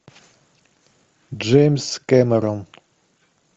джеймс кэмерон